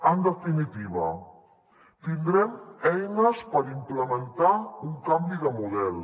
en definitiva tindrem eines per implementar un canvi de model